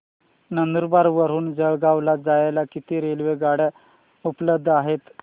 नंदुरबार वरून जळगाव ला जायला किती रेलेवगाडया उपलब्ध आहेत